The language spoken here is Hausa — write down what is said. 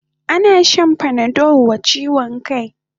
Ana shan panadol wa chiwon kai